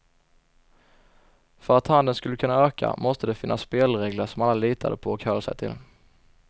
För att handeln skulle kunna öka måste det finnas spelregler som alla litade på och höll sig till.